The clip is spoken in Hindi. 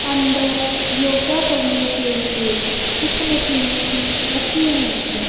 अंदर योगा करने के लिए कुछ मशीने रखी हुई है।